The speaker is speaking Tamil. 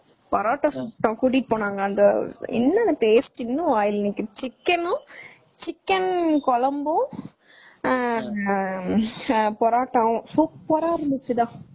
பரோட்டா சாப்பிட்டோம் கூப்பிட்டு போனாங்க.இன்னும் அந்த taste இன்னோம் வாயில நிக்கிது.சிக்கன்னும், சிக்கன் குழம்பும் பரோட்டாவும் சூப்பர்ரா இருந்துச்சுடா.